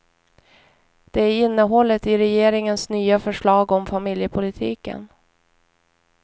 Det är innehållet i regeringens nya förslag om familjepolitiken.